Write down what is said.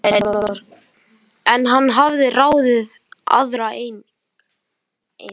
En hann hafði ráðið aðra einnig.